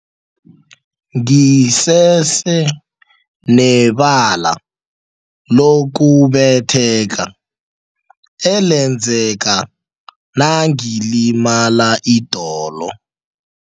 Ngisese nebala lokubetheka elenzeka nangilimala idolo.